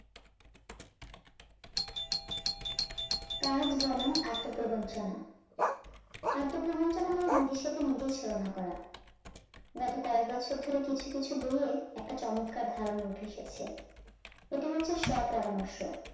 কাজ বনাম আত্ম প্রবঞ্জনা আত্ম প্রবঞ্জনা মানে নিজেই সাথে নিজের ছলনা করা। গত কয়েক বছর ধরে কিছু কিছু বইয়ে একটা চমৎকার ধারণা উঠে এসেছে এটি হচ্ছে স্ব পরামর্শ